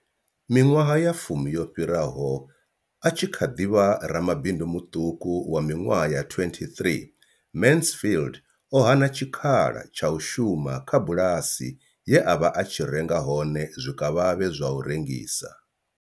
Miṅwaha ya fumi yo fhiraho, a tshi kha ḓi vha ramabindu muṱuku wa miṅwaha ya 23, Mansfield o hana tshikhala tsha u shuma kha bulasi ye a vha a tshi renga hone zwikavhavhe zwa u rengisa.